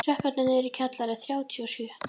Tröppurnar niður í kjallara eru þrjátíu og sjö.